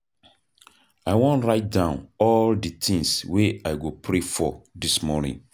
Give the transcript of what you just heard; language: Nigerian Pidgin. I wan write down all di tins wey I go pray for dis morning.